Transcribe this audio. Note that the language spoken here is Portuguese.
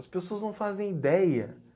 As pessoas não fazem ideia